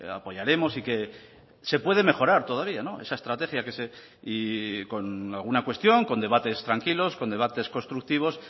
apoyaremos y que se puede mejorar todavía esa estrategia con alguna cuestión con debates tranquilos con debates constructivos